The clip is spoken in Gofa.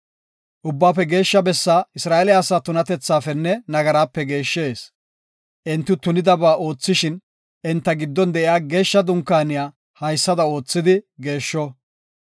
Ubbaafe Geeshsha Bessaa Isra7eele asaa tunatethafenne nagarape geeshshees. Enti tunabaa oothishin, enta giddon de7iya Geeshsha Dunkaaniya haysada oothidi geeshsho.